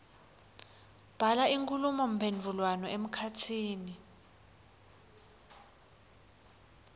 bhala inkhulumomphendvulwano emkhatsini